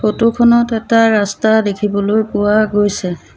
Photo খনত এটা ৰাস্তা দেখিবলৈ পোৱা গৈছে।